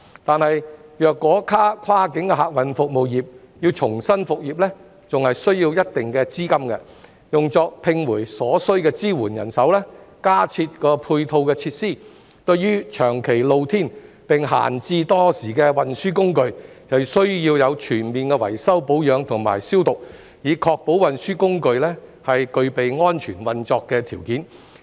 可是，如果跨境客運服務業要重新復業，還需要一定資金，用作重聘所需的支援人手、加設配套設施，以及需對長期露天並閒置多時的運輸工具作全面維修保養及消毒，以確保運輸工具具備安全運作的條件。